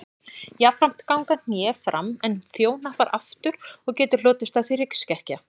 Jafnframt ganga hné fram en þjóhnappar aftur og getur hlotist af því hryggskekkja.